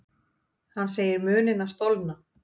Hann segir munina stolna.